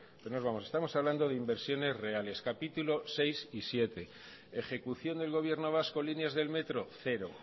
estamos hablando de inversiones reales capítulo sexto y séptimo ejecución del gobierno vasco líneas del metro cero